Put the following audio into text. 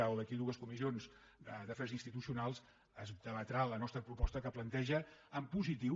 o d’aquí a dues comissions d’afers institucionals es debatrà la nostra proposta que planteja en positiu